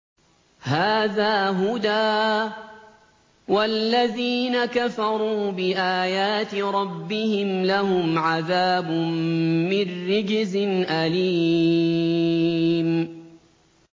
هَٰذَا هُدًى ۖ وَالَّذِينَ كَفَرُوا بِآيَاتِ رَبِّهِمْ لَهُمْ عَذَابٌ مِّن رِّجْزٍ أَلِيمٌ